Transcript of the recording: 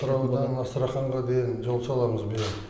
атыраудан астраханьға дейін жол саламыз биыл